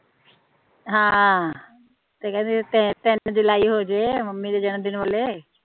ਹਮ ਤੇ ਕਹਿੰਦੇ ਤਿੰਨ ਜੁਲਾਈ ਹੋਜੇ ਮੰਮੀ ਦੇ ਜਨਮਦਿਨ ਬੋਲੇ